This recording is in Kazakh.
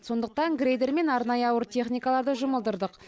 сондықтан грейдер мен арнайы ауыр техникаларды жұмылдырдық